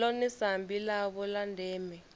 ḽone sambi ḽavho ḽa ndeme